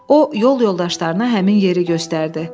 O yol yoldaşlarına həmin yeri göstərdi.